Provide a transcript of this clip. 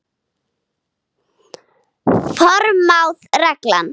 Forsmáð regla.